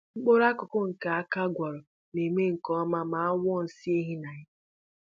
Mkpụrụ akụkụ nke aka gwara na-eme nke ọma ma a wụọ nsị ehi na ya